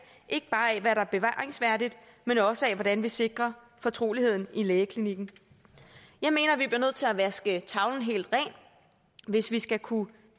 ikke bare af hvad der er bevaringsværdigt men også af hvordan vi sikrer fortroligheden lægeklinikken jeg mener vi bliver nødt til at vaske tavlen helt ren hvis vi skal kunne